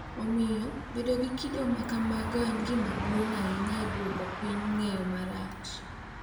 Omiyo, bedo gi kido ma kamago en gima duong’ ahinya e duoko piny ng’eyo marach .